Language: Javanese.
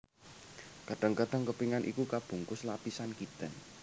Kadang kadang kepingan iku kabungkus lapisan kitin